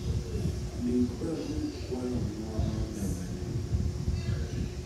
Ndik barup kwayo ng'wono ne maneja